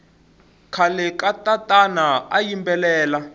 khale katatana ayimbelela